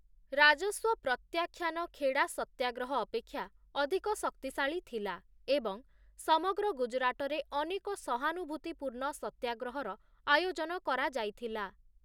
ରାଜସ୍ୱ ପ୍ରତ୍ୟାଖ୍ୟାନ ଖେଡ଼ା ସତ୍ୟାଗ୍ରହ ଅପେକ୍ଷା ଅଧିକ ଶକ୍ତିଶାଳୀ ଥିଲା, ଏବଂ ସମଗ୍ର ଗୁଜରାଟରେ ଅନେକ ସହାନୁଭୂତିପୂର୍ଣ୍ଣ ସତ୍ୟାଗ୍ରହର ଆୟୋଜନ କରାଯାଇଥିଲା ।